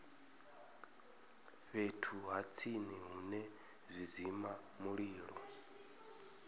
fhethu ha tsini hune zwidzimamulilo